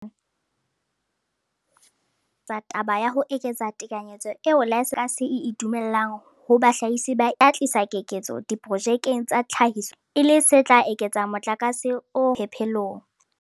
Mmuso o sa tswa phatlalatsa taba ya ho eketsa tekanyetso eo laesense ya tlhahiso ya motlakase e e dumellang ho bahlahisi ba ikemetseng e tla tlisa keketseho diprojekeng tsa tlhahiso ya motlakase, e le se tla eketsa motlakase o hokelwang phepelong.